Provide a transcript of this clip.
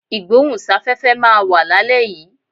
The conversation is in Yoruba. Ìgbóhùn sáfẹ́fẹ́ máa wà lálẹ́ yìí.